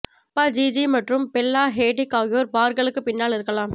அப்பா ஜிஜி மற்றும் Bella Hadid ஆகியோர் பார்கள்க்குப் பின்னால் இருக்கலாம்